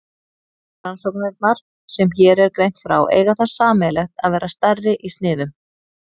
Rannsóknirnar sem hér er greint frá eiga það sameiginlegt að vera stærri í sniðum.